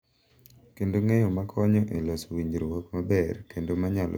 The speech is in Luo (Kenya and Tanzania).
Kendo ng’eyo ma konyo e loso winjruok maber kendo ma nyalo sikon.